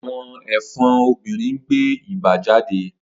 Awọn ẹfọn obinrin n gbe iba jade.